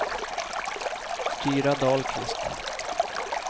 Tyra Dahlqvist